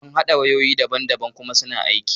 Mun haɗa wayoyi daban daban kuma suna aiki.